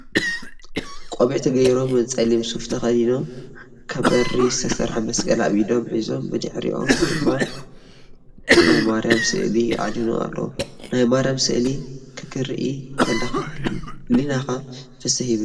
ቆቢዕ ገይሮም ፀሊም ሱፍ ተከዲኖም ካብ ብሪ ዝተሰርሐ መስቀል ኣብ ኢዶም ሒዞም ብሕሪኦም ድማ ናይ ማርያም ስእሊ ኣድህኖ ኣሎ። ናይ ማርያም ስእሊ ክክርኢ ተለኩ ህሊናይ ፍስህ ይብል።